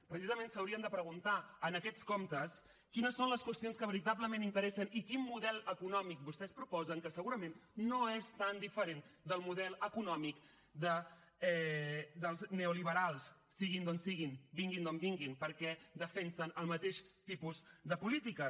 precisament s’haurien de preguntar en aquests comptes quines són les qüestions que veritablement interessen i quin model econòmic vostès proposen que segurament no és tan diferent del model econòmic dels neoliberals siguin d’on siguin vinguin d’on vinguin perquè defensen el mateix tipus de polítiques